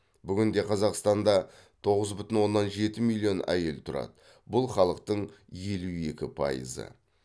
бүгінде қазақстанда тоғыз бүтін оннан жеті миллион әйел тұрады бұл халықтың елу екі пайызы